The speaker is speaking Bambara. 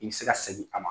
I bɛ se ka segin a ma